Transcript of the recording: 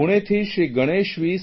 પુણેથી Shri Ganesh વી